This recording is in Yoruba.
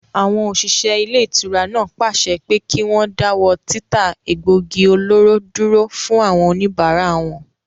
Àwọn òṣìṣẹ́ ilé-ìtura náà pàṣẹ pé kí wọ́n dáwọ́ títa egbògi olóró dúró fún àwọn òníbárà wọn